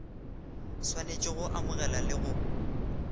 swanetše go amogela le go